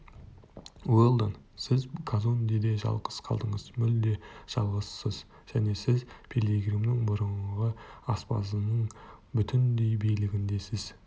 уэлдон сіз казондеде жалғыз қалдыңыз мүлде жалғызсыз және сіз пилигримнің бұрынғы аспазының бүтіндей билігіндесіз